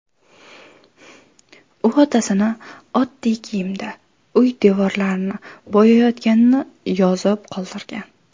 U otasini oddiy kiyimda uy devorlarini bo‘yayotganini yozib qoldirgan.